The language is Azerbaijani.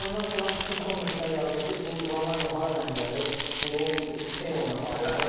Oyundan sonra bütün kommentlər yazır ki, bu Ronaldo hardan gəlib, bu Temodan alınıb.